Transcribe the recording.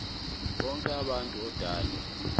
bonk abantu odale